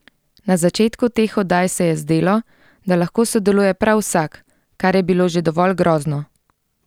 Na začetku teh oddaj se je zdelo, da lahko sodeluje prav vsak, kar je bilo že dovolj grozno!